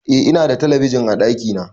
Eh Ina da talabijin a ɗakina